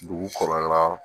Dugu kɔnɔna